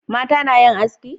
Mata na yin haski?